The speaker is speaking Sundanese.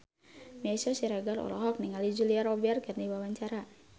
Meisya Siregar olohok ningali Julia Robert keur diwawancara